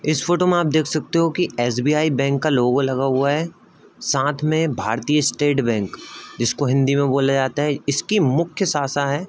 इस फ़ोटो में आप देख सकते हो कि एस.बी.आई. बैंक का लोगो लगा हुआ है साथ में भारतीय स्‍टेट बैंक जिसको हिन्‍दी में बोला जाता है इसकी मुख्‍य शाशा है ।